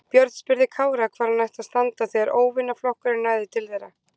Björn spurði Kára hvar hann ætti að standa þegar óvinaflokkurinn næði til þeirra.